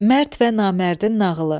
Mərd və namərdin nağılı.